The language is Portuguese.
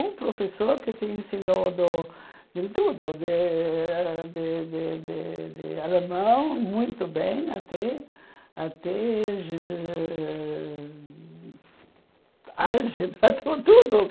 O professor que te ensinou do de tudo, de de de alemão, muito bem, até até ge ge ãh álgebra, tudo.